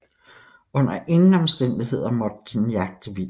Under ingen omstændigheder måtte den jagte vildt